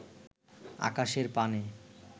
আকাশের পানে